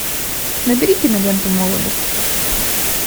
набери киноленту молодость